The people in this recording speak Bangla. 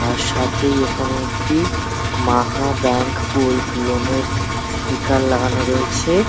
তার সাথেই এখানে একটি মাহা ব্যাঙ্ক গোল্ড লোন -এর স্টিকার লাগানো রয়েছে।